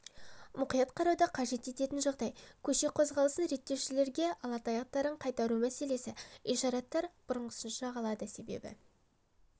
мұқият қарауды қажет ететін жағдай көше қозғалысын реттеушілерге ала таяқтарын қайтару мәселесі ишараттар бұрынғысынша қалады себебі